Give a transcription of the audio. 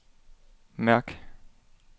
mærk